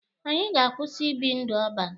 Anyị ga-akwụsị ibi ndụ ọban.